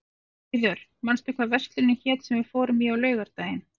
Auður, manstu hvað verslunin hét sem við fórum í á laugardaginn?